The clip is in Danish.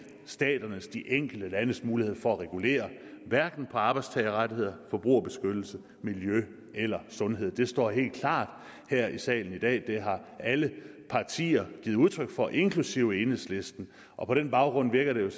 staternes de enkelte landes mulighed for at regulere arbejdstagerrettigheder forbrugerbeskyttelse miljø eller sundhed det står helt klart her i salen i dag det har alle partier giver udtryk for inklusive enhedslisten og på den baggrund virker det